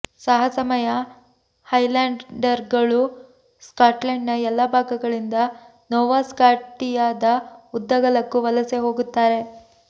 ಸಾಹಸಮಯ ಹೈಲ್ಯಾಂಡರ್ಗಳು ಸ್ಕಾಟ್ಲೆಂಡ್ನ ಎಲ್ಲಾ ಭಾಗಗಳಿಂದ ನೋವಾ ಸ್ಕಾಟಿಯಾದ ಉದ್ದಗಲಕ್ಕೂ ವಲಸೆ ಹೋಗುತ್ತಾರೆ